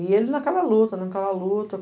E ele naquela luta, naquela luta.